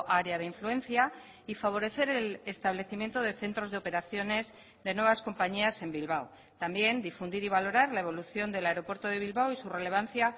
área de influencia y favorecer el establecimiento de centros de operaciones de nuevas compañías en bilbao también difundir y valorar la evolución del aeropuerto de bilbao y su relevancia